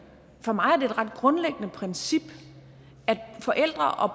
for mig er det et ret grundlæggende princip at forældre og